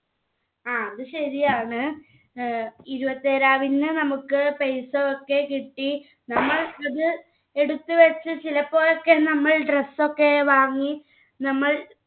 ആ അത് ശരിയാണ് ഏർ ഇരുപത്തിയേഴാം തിയതി നമ്മുക്ക് paisa ഒക്കെ കിട്ടി നമ്മൾ അത് എടുത്തുവെച്ച് ചിലപ്പോഴൊക്കെ നമ്മൾ dress ഒക്കെ വാങ്ങി നമ്മൾ